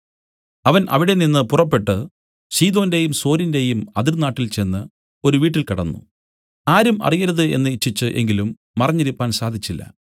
അവൻ അവിടെനിന്നു പുറപ്പെട്ടു സീദോന്റെയും സോരിന്റെയും അതിർനാട്ടിൽ ചെന്ന് ഒരു വീട്ടിൽ കടന്നു ആരും അറിയരുത് എന്നു ഇച്ഛിച്ചു എങ്കിലും മറഞ്ഞിരിപ്പാൻ സാധിച്ചില്ല